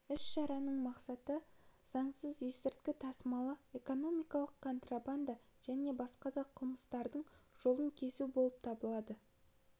іс-шараның мақсаты заңсыз есірткі тасымалы экономикалық контрабанда және басқа да қылмыстардың жолын кесу болып табылады